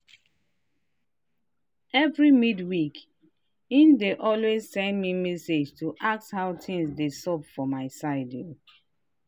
every midweek he dey always send me message to ask how things dey xup for my side.